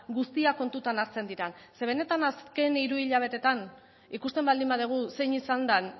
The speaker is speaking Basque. guztia kontutan hartzen diren zeren benetan azken hiru hilabetetan ikusten baldin badugu zein izan den